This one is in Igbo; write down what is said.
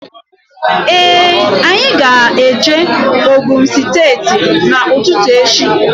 Ee anyị ga -eje Ogun steeti n'ututu echi.